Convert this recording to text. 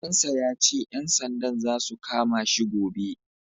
Ɗan sa ya ce, ƴan sandan za su kama shi gobe.